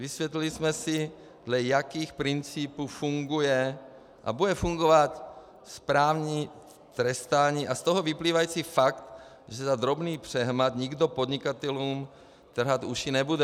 Vysvětlili jsme si, dle jakých principů funguje a bude fungovat správní trestání, a z toho vyplývající fakt, že za drobný přehmat nikdo podnikatelům trhat uši nebude.